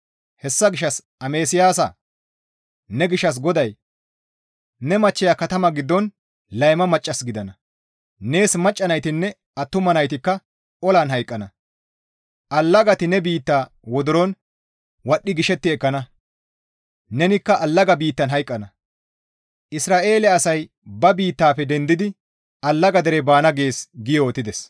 Hessa gishshas amasiyaasa! Ne gishshas GODAY, ‹Ne machcheya katama giddon layma maccas gidana; nees macca naytinne attuma naytikka olan hayqqana; allagati ne biitta wodoron wadhdhi gishetti ekkana; nenikka allaga biittan hayqqana; Isra7eele asay ba biittafe di7ettidi allaga dere baana› gees» gi yootides.